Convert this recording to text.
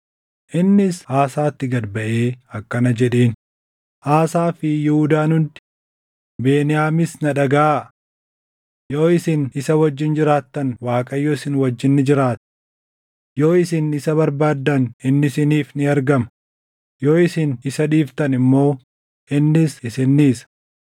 Innis Asaatti gad baʼee akkana jedheen; “Aasaa fi Yihuudaan hundi, Beniyaamis na dhagaʼaa. Yoo isin isa wajjin jiraattan Waaqayyo isin wajjin ni jiraata. Yoo isin isa barbaaddan inni isiniif ni argama; yoo isin isa dhiiftan immoo innis isin dhiisa.